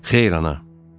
Xeyr, ana.